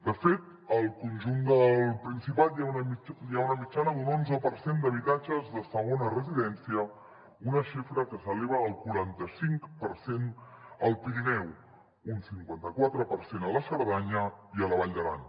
de fet al conjunt del principat hi ha una mitjana d’un onze per cent d’habitatges de segona residència una xifra que s’eleva al quaranta cinc per cent al pirineu un cinquanta quatre per cent a la cerdanya i a la vall d’aran